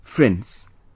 Friends,